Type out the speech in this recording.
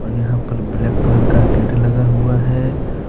और यहां पर ब्लैक कलर का गेट लगा हुआ है।